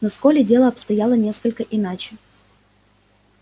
но с колли дело обстояло несколько иначе